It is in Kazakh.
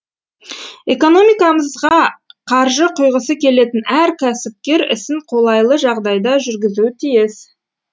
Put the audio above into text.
экономикамызға қаржы құйғысы келетін әр кәсіпкер ісін қолайлы жағдайда жүргізуі тиіс